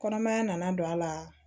Kɔnɔmaya nana don a la